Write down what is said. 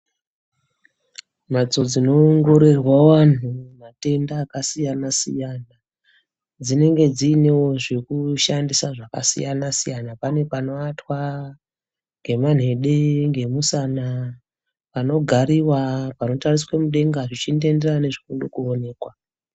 Mhatso dzinoongorerwa wanhu matenda akasiyana-siyana, dzinenge dzinewo zvekushandisa zvakasiyana-siyana. Pane panovatwa ngemanhede, ngemusana. Panogariwa, panotariswe mudenga, zvichindoenderana nezvoode koonekwa.